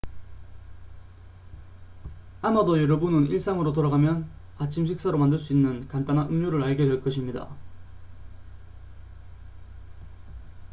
아마도 여러분은 일상으로 돌아가면 아침 식사로 만들 수 있는 간단한 음료를 알게 될 것입니다